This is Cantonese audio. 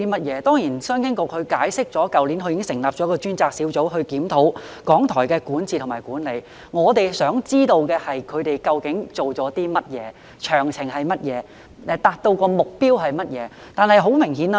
局長在主體答覆中解釋，商經局已於去年成立專責小組，負責檢討港台的管治及管理，但我們想知道當局究竟做了些甚麼，詳情為何，以及達到了甚麼目標。